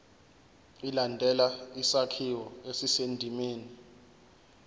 ilandele isakhiwo esisendimeni